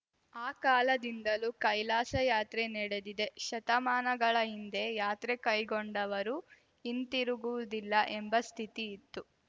ಆ ಕಾಲದಿಂದಲೂ ಕೈಲಾಸಯಾತ್ರೆ ನಡೆದಿದೆ ಶತಮಾನಗಳ ಹಿಂದೆ ಯಾತ್ರೆ ಕೈಗೊಂಡವರು ಹಿಂತಿರುಗುವುದಿಲ್ಲ ಎಂಬ ಸ್ಥಿತಿ ಇತ್ತು